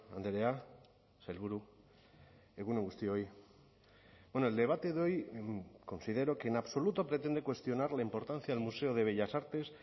andrea sailburu egun on guztioi bueno el debate de hoy considero que en absoluto pretende cuestionar la importancia del museo de bellas artes